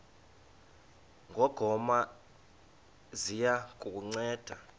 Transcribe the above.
ngongoma ziya kukunceda